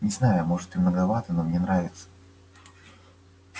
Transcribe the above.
не знаю может и многовато но мне нравится